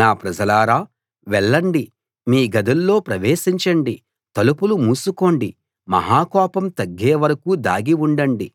నా ప్రజలారా వెళ్ళండి మీ గదుల్లో ప్రవేశించండి తలుపులు మూసుకోండి మహా కోపం తగ్గే వరకూ దాగి ఉండండి